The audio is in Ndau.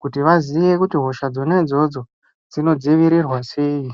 kuti vaziye kuti hosha dzona idzodzo dzinodzivirirwa sei.